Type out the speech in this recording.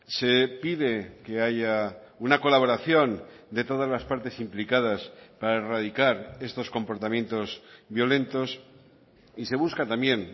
se pide que haya una colaboración de todas las partes implicadas para erradicar estos comportamientos violentos y se busca también